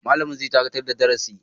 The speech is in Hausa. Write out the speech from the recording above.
Malami zai dakatar da darasi.